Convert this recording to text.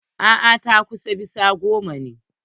A'a, takwas bisa goma ne.